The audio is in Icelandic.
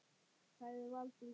sagði Valdís